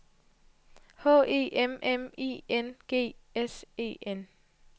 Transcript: H E M M I N G S E N